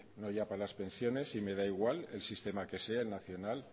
no ya para las pensiones y me da igual el sistema que sea nacional